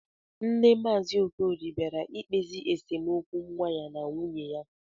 Nne maazi okorie bịara ikpezi esemokwu nwa ya na nwuye ya